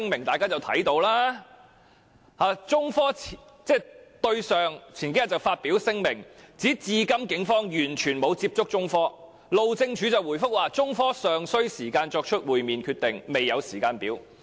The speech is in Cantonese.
中科興業有限公司日前發表聲明，指警方至今完全沒有與它接觸，而路政署則回覆中科表示尚需時間作出會面決定，未有時間表。